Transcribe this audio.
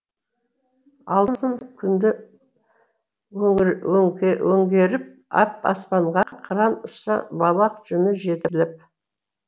алтын күнді өңгеріп ап аспанға қыран ұшса балақ жүні жетіліп